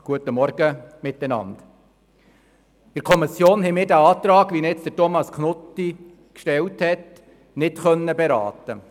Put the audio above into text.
In der Kommission konnten wir den Antrag, wie ihn Thomas Knutti jetzt gestellt hat, nicht beraten.